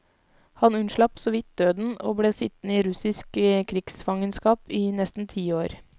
Han unnslapp såvidt døden og ble sittende i russisk krigsfangenskap i nesten ti år.